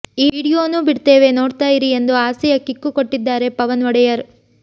ವಿಡಿಯೋನೂ ಬಿಡ್ತೇವೆ ನೋಡ್ತಾ ಇರಿ ಎಂದು ಆಸೆಯ ಕಿಕ್ಕು ಕೊಟ್ಟಿದ್ದಾರೆ ಪವನ್ ಒಡೆಯರ್